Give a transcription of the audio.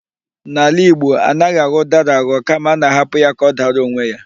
N'ala Igbo, anaghị aghọ ụdara aghọ kama a na-ahapụ ya ka ọ dara onwe ya.